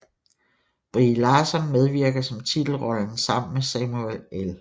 Brie Larson medvirker som titelrollen sammen med Samuel L